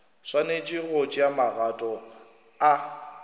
swanetše go tšea magato a